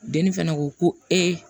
Denni fana ko ko ee